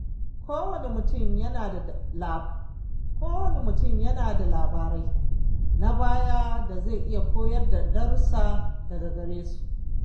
Kowane mutum yana da labarai na baya da zai iya koyar darussa daga gare su.